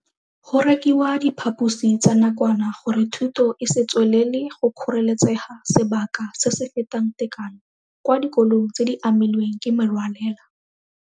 Go rekiwa diphaposi tsa nakwana gore thuto e se tswelele go kgoreletsega sebaka se se fetang tekano kwa dikolong tse di amilweng ke merwalela.